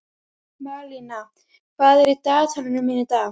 Malína, hvað er á dagatalinu mínu í dag?